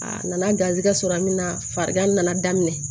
A nana garisigɛ sɔrɔ a min na farigan nana daminɛ